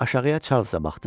Aşağıya Çarlza baxdım.